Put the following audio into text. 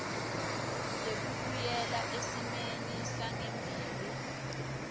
lekubuyela esimeni sangembili